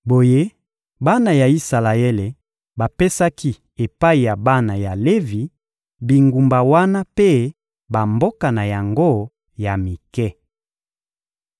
Boye bana ya Isalaele bapesaki epai ya bana ya Levi, bingumba wana mpe bamboka na yango ya mike.